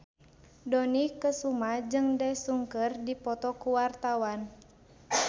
Dony Kesuma jeung Daesung keur dipoto ku wartawan